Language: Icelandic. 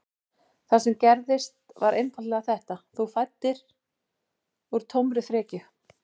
Það sem gerðist var einfaldlega þetta: Þú fæddir úr tómri frekju.